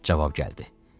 Cavab gəldi.